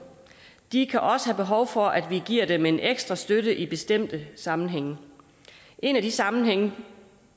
de kan også have behov for at vi giver dem en ekstra støtte i bestemte sammenhænge en af de sammenhænge